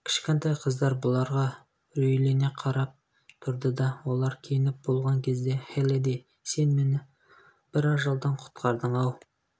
кішкентай қыздар бұларға үрейлен қарап тұрды олар киініп болған кезде хеллидэй сен мені бір ажалдан құтқардың-ау